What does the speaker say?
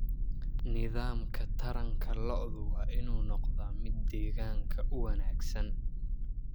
Nidaamka taranta lo'du waa inuu noqdaa mid deegaanka u wanaagsan.